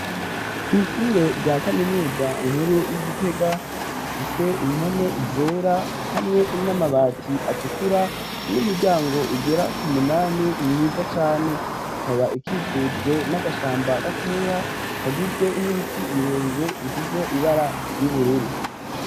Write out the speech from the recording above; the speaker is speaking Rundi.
Kw'ishure rya kaminuza nkuru y'igitega ifise impome zera hamwe n'amabati atukura n'imiryango igera ku munani nkiza cane ikaba ikikujwe n'agashamba gatoya kagizwe n'ibiti birebire ifise ibara ry'ubururu.